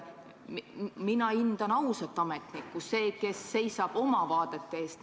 Mina hindan ausat ametnikku, seda, kes seisab oma vaadete eest.